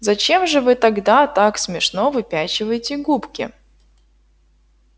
зачем же вы тогда так смешно выпячиваете губки